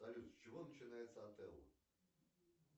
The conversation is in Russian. салют с чего начинается отелло